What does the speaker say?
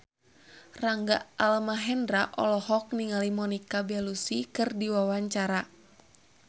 Rangga Almahendra olohok ningali Monica Belluci keur diwawancara